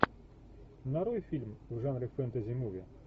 нарой фильм в жанре фэнтези муви